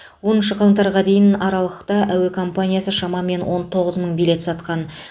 оныншы қаңтарға дейін аралықта әуе компаниясы шамамен он тоғыз мың билет сатқан